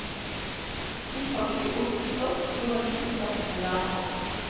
Innpakket i oljet stoff lå en liten flaske med lærpropp.